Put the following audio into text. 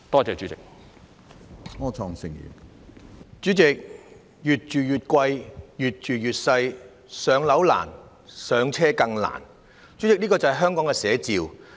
主席，"越住越貴，越住越細"，"上樓難，上車更難"，便是香港的寫照。